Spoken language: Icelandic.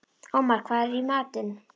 Ómar, hvað er í matinn?